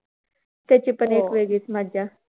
त्याची पण एक वेगळीच मजा.